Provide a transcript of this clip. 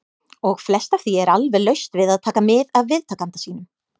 . og flest af því er alveg laust við að taka mið af viðtakanda sínum.